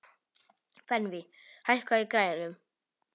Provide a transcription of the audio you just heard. Benvý, hækkaðu í græjunum.